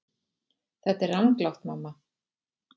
Þetta er ranglátt mamma.